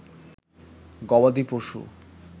গবাদি পশু